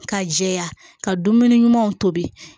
Ka jɛya ka dumuni ɲumanw tobi